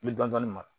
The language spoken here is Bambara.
I bɛ dɔn dɔnni mara